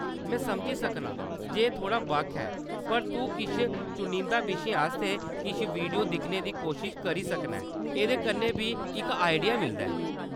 में समझी सकनां जे एह्‌‌ थोह्‌ड़ा बक्ख ऐ, पर तूं किश चुनिंदा विशें आस्तै किश वीडियो दिक्खने दी कोशश करी सकना ऐं, एह्‌‌‌दे कन्नै बी इक आइडिया मिलदा ऐ।